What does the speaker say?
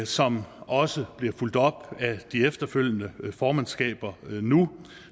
som også bliver fulgt op af de efterfølgende formandskaber nu